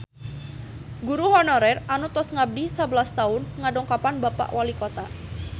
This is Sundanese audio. Guru honorer anu tos ngabdi sabelas tahun ngadongkapan Bapak Walikota